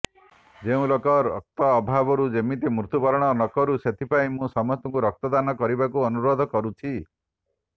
କୌଣସି ଲୋକ ରକ୍ତ ଅଭାବରୁ ଯେମିତି ମତ୍ୟୁବରଣ ନକରୁ ସେଥିପାଇଁ ମୁଁ ସମସ୍ତଙ୍କୁ ରକ୍ତଦାନ କରିବାକୁ ଅନୁରୋଧ କରୁଛି